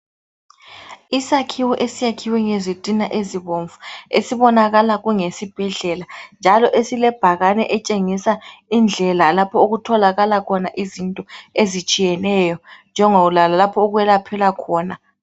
Isakhiwo esiyakhiwe ngezitina ezibomvu. Esibonakala, kungesibhedlela, njalo esilebhakane etshengisa indlela, lapha okutholakaka khona izinto, ezitshiyeneyo. Njengokwalapha okwelaphela khona.